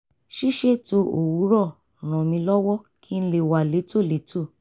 ṣíṣètò owurọ̀ ràn mí lọ́wọ́ kí n lè wà létòlétò